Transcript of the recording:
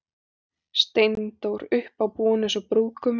Steindór uppábúinn eins og brúðgumi.